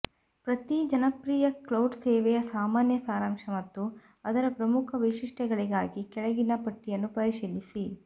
ಪ್ರತಿ ಜನಪ್ರಿಯ ಕ್ಲೌಡ್ ಸೇವೆಯ ಸಾಮಾನ್ಯ ಸಾರಾಂಶ ಮತ್ತು ಅದರ ಪ್ರಮುಖ ವೈಶಿಷ್ಟ್ಯಗಳಿಗಾಗಿ ಕೆಳಗಿನ ಪಟ್ಟಿಯನ್ನು ಪರಿಶೀಲಿಸಿ